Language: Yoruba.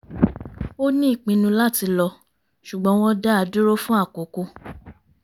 ó ní ìpinnu láti lọ ṣùgbọ́n wọ́n dá a dúró fún àkókò